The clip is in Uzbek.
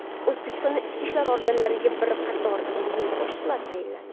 O‘zbekistonda ichki ishlar organlariga bir qator yangi boshliqlar tayinlandi.